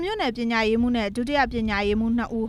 မြို့နယ်ပညာရေးမှူးနဲ့ ဒုတိယပညာရေးမှူး နှစ်ဦး